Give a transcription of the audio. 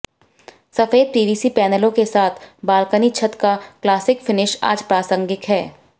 सफेद पीवीसी पैनलों के साथ बालकनी छत का क्लासिक फिनिश आज प्रासंगिक है